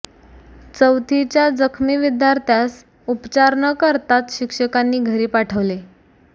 चौथीच्या जखमी विद्यार्थ्यास उपचार न करताच शिक्षकांनी घरी पाठवले